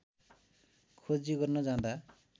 खोजी गर्न जाँदा